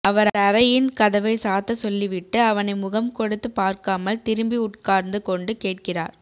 அவர் அறையின் கதவை சாத்த சொல்லிவிட்டு அவனை முகம் கொடுத்து பார்க்காமல் திரும்பி உட்கார்ந்து கொண்டு கேட்கிறார்